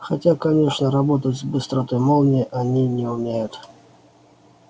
хотя конечно работать с быстротой молнии они не умеют